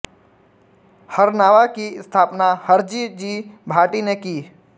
हरनावा की स्थापना हरजी जी भाटी ने की